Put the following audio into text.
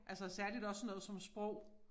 Altså særligt også sådan noget som sprog